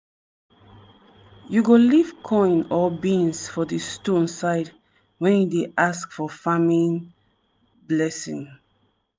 you go leave coin or beans for di stone side when you dey ask for farming blessing.